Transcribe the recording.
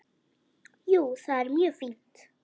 Jú, það er mjög fínt.